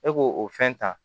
E k'o o fɛn ta